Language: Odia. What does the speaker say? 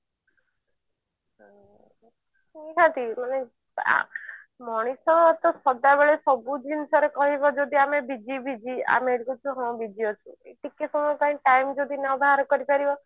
ନିହାତି ଜଣେ ଆ ମଣିଷ ତ ସଦାବେଳେ ସବୁ ଜିନିଷ ରେ କହିବ ଯଦି ଆମେ busy busy ଆମେ ହଁ busy ଅଛୁ ଟିକେ ସମୟ ପାଇଁ time ଯଦି ନ ବାହାର କରିପାରିବ